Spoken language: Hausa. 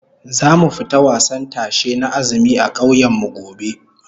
Zamu fita wasan tashe na azumi a kauyen mu gobe